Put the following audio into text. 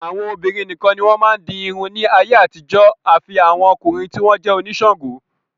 Àwọn obìnrin nìkan ni wọ́n máa ń di irun ní ayé àtijọ́ àfi àwọn ọkùnrin tí wọ́n jẹ́ oníṣàǹgó.